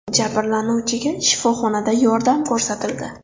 Jabrlanuvchiga shifoxonada yordam ko‘rsatildi.